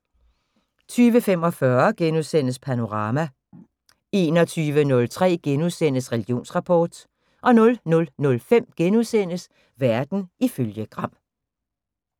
20:45: Panorama * 21:03: Religionsrapport * 00:05: Verden ifølge Gram *